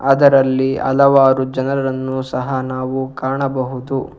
ಅದರಲ್ಲಿ ಹಲವಾರು ಜನರನ್ನು ಸಹ ನಾವು ಕಾಣಬಹುದು.